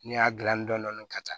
N'i y'a gilan dɔɔnin dɔɔnin ka taa